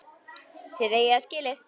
Þið eigið það skilið.